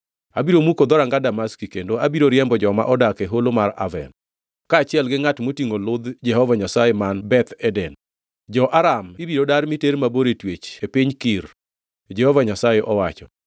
Abiro muko dhoranga Damaski, kendo abiro riembo joma odak e Holo mar Aven, kaachiel gi ngʼat motingʼo ludh Jehova Nyasaye man Beth Eden. Jo-Aram ibiro dar miter mabor e twech e piny Kir,” Jehova Nyasaye owacho.